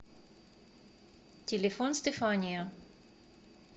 телефон стефания